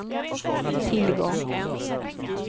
tillgång